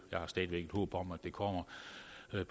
jeg har stadig væk et håb om at den kommer